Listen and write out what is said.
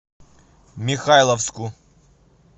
михайловску